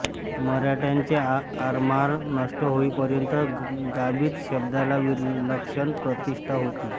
मराठ्यांचे आरमार नष्ट होईपर्यंत गाबीत शब्दाला विलक्षण प्रतिष्ठा होती